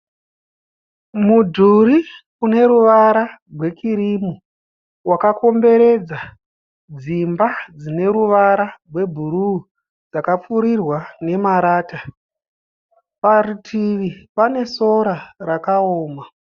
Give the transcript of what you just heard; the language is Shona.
Mudhuri une ruvara rwe kirimu wakakomberedza dzimba dzine ruvara rwebhuruu dzakapfurirwa nemarata. Parutivi pane sora rakaoma.